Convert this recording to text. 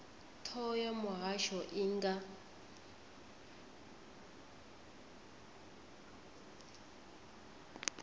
thoho ya muhasho i nga